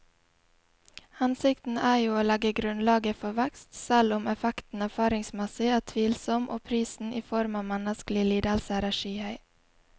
Hensikten er jo å legge grunnlaget for vekst, selv om effekten erfaringsmessig er tvilsom og prisen i form av menneskelige lidelser er skyhøy.